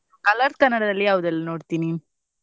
Colors Kannada ದಲ್ಲಿ ಯಾವ್ದೆಲ್ಲ ನೋಡ್ತಿ ನೀನ್?